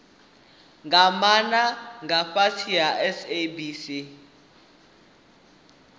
maana nga fhasi ha sabc